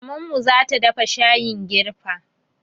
Mamanmu zata dafa shayin girfa